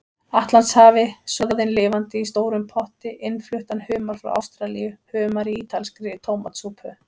Atlantshafi, soðinn lifandi í stórum potti, innfluttan humar frá Ástralíu, humar í ítalskri tómatsúpu.